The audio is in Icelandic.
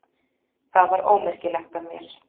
Það var ómerkilegt af mér.